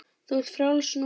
Þú ert frjáls núna.